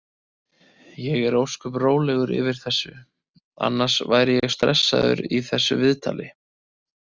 Ég er ósköp rólegur yfir þessu, annars væri ég stressaður í þessu viðtali.